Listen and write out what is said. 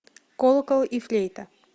колокол и флейта